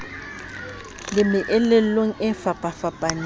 le meelelong e fapafapaneng ka